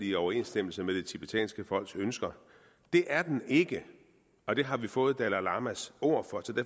i overensstemmelse med det tibetanske folks ønsker det er den ikke og det har vi fået dalai lamas ord